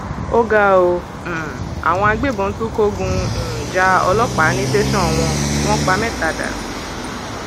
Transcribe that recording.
ó ga ọ um àwọn agbébọn tún kógun um ja ọlọpàá ní tẹsán wọn wọn pa mẹta dànù